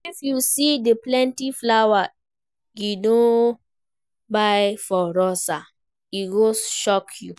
If you see the plenty flower Gideon buy for Rosa, e go shock you